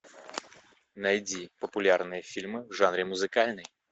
найди популярные фильмы в жанре музыкальный